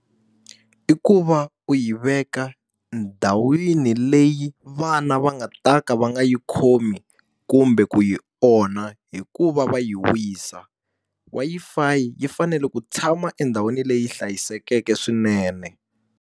I ku va u yi veka ndhawini leyi vana va nga ta ka va nga yi khomi kumbe ku yi onha hi ku va va yi wisa. Wi-Fi yi fanele ku tshama endhawini leyi hlayisekeke swinene.